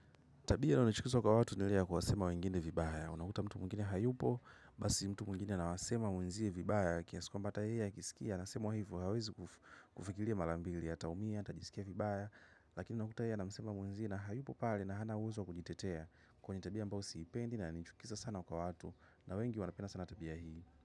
Tabia inayonichukiza kwa watu ni ile ya kuwasema wengine vibaya. Unakuta mtu mwingine hayupo, basi mtu mwingine anawasema mwenzie vibaya. Kiasi kwamba hata yeye akisikia anasemwa hivyo hawezi kufikiria mara mbili, ataumia, atajisikia vibaya. Lakini unakuta yeye anamsema mwenzie na hayupo pale na hana uwezo wa kujitetea. Kwa hiyo, ni tabia ambayo siipendi na inanichukiza sana kwa watu na wengi wanapenda sana tabia hii.